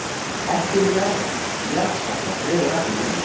Hækkun jaðarskatta dregur ekki úr vinnu